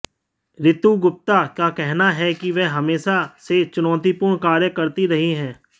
श्रुति गुप्ता का कहना है कि वह हमेशा से चुनौतीपूर्ण कार्य करती रही हैं